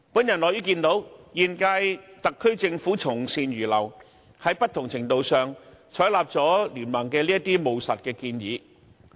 我樂於看見現屆特區政府從善如流，在不同程度上，採納了經民聯的務實建議。